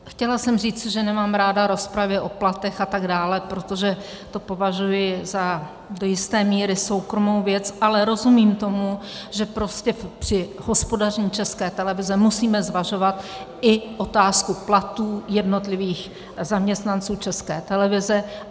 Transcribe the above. Chtěla jsem říct, že nemám ráda rozpravy o platech a tak dále, protože to považuji za do jisté míry soukromou věc, ale rozumím tomu, že prostě při hospodaření České televize musíme zvažovat i otázku platů jednotlivých zaměstnanců České televize.